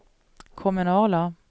kommunala